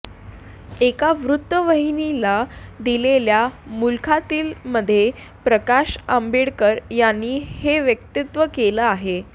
एका वृत्तवाहिनीला दिलेल्या मुलाखतीमध्ये प्रकाश आंबेडकर यांनी हे वक्तव्य केले आहे